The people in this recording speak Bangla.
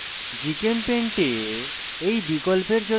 gchempaint এ এই বিকল্পের জন্য সাধারণ short cut cut হল